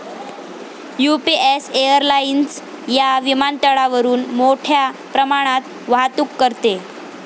UPS airlines या विमानतळावरून मोठ्या प्रमाणात वाहतूक करते.